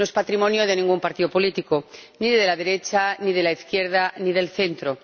No es patrimonio de ningún partido político ni de la derecha, ni de la izquierda, ni del centro.